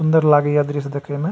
सुन्दर लागे ये दृश्य देखे मे।